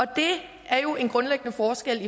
det er jo en grundlæggende forskel